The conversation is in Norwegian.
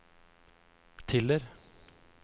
Tiller